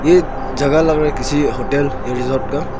ये जगह लग रहा है किसी होटल या रिसोर्ट का।